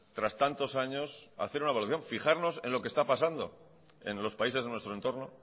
tras tantos años hacer una valoración fijarnos en lo que está pasando en los países de nuestro entorno